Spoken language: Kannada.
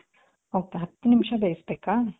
ok ಹತ್ತು ನಿಮಿಷ ಬೆಸ್ಬೇಕಾ?